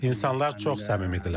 İnsanlar çox səmimidirlər.